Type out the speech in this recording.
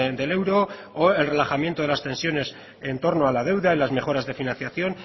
del euro o el relajamiento de las tensiones en torno a la deuda y a las mejoras de financiación